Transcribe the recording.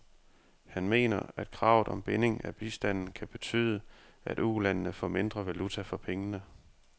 Han mener, at kravet om binding af bistanden kan betyde, at ulandene får mindre valuta for pengene.